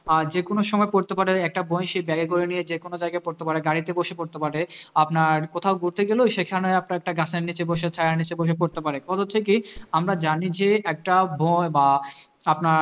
আর যেকোনো সময় পড়তে পারো একটা বই সে bag এ করে নিয়ে সে যেকোনো জায়গায় পড়তে পারে গাড়িতে বসে পড়তে পারে আপনার কোথাও ঘুরতে গেলো সেখানে আপনার একটা গাছের নিচে বসে ছায়ার নিচে বসে পড়তে পারে কথা হচ্ছে কি আমরা জানি যে একটা বই বা আপনার